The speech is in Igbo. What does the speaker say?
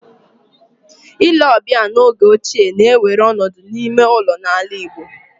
Ile ọbịa n'oge ochie na-ewere ọnọdụ n'ime ụlọ n'ala Igbo